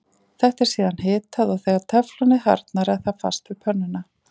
Þetta er síðan hitað og þegar teflonið harðnar er það fast við pönnuna.